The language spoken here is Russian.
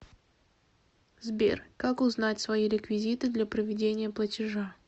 сбер как узнать свои реквизиты для проведения платежа